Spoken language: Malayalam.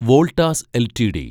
വോൾട്ടാസ് എൽറ്റിഡി